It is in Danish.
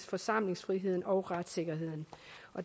forsamlingsfriheden og retssikkerheden